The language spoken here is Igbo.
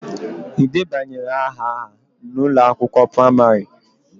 Ị debanyere aha ha n'ụlọ akwụkwọ praimarị?